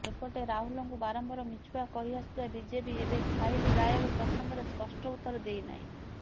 ସେପଟେ ରାହୁଲଙ୍କୁ ବାରମ୍ବାର ମିଛୁଆ କହିଆସୁଥିବା ବିଜେପି ଏବେ ଫାଇଲ ଗାୟବ ପ୍ରସଙ୍ଗରେ ସ୍ପଷ୍ଟ ଉତ୍ତର ଦେଇନାହିଁ